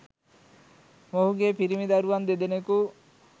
මොහුගේ පිරිමි දරුවන් දෙදෙනකු